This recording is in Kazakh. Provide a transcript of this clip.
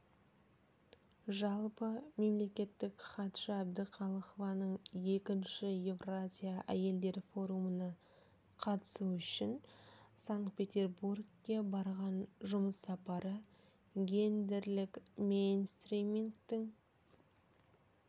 жалпы мемлекеттік хатшы әбдіқалықованың екінші еуразия әйелдер форумына қатысу үшін санкт-петербургке барған жұмыс сапары гендерлік мейнстримингтің